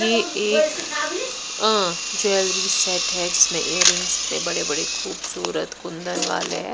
ये एक jewellery um set है जिसमें इयररिंग्स इतने बड़े-बड़े खूबसूरत कुंधन वाले हैं।